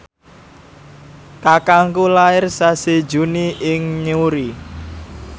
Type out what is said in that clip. kakangku lair sasi Juni ing Newry